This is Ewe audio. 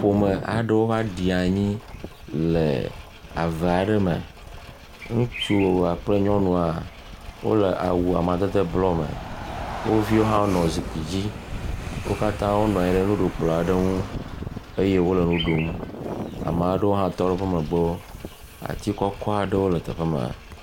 Ƒome aɖewo va ɖi anyi le ave aɖe me. Ŋutsu kple nyɔnua wonɔ zikpui dzi eye wo kata wonɔ nuɖu kplɔ aɖe ŋu eye wo le nu ɖum. Ame aɖewo hã tɔ ɖe woƒe megbe. Ati kɔjɔ aɖe le teƒe ma.